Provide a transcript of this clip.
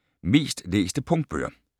Mest læste punktbøger